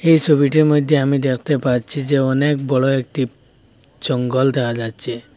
এই ছবিটির মইধ্যে আমি দেখতে পাচ্ছি যে অনেক বড়ো একটি জঙ্গল দেখা যাচ্ছে।